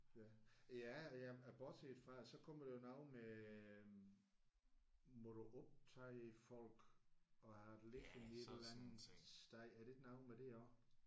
Ja. Ja ja bortset fra så kommer der noget med må du optage folk og have det liggende et eller andet sted er det ikke noget med det også?